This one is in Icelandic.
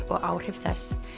og áhrif þess